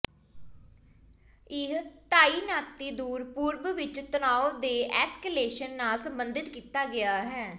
ਇਹ ਤਾਇਨਾਤੀ ਦੂਰ ਪੂਰਬ ਵਿਚ ਤਣਾਅ ਦੇ ਐਸਕੇਲੇਸ਼ਨ ਨਾਲ ਸੰਬੰਧਿਤ ਕੀਤਾ ਗਿਆ ਹੈ